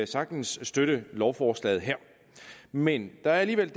sagtens støtte lovforslaget her men der er alligevel